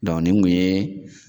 nin kun ye